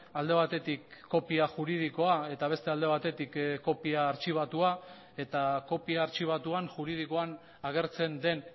alde batetik kopia juridikoa eta beste alde batetik kopia artxibatua eta kopia artxibatuan juridikoan agertzen den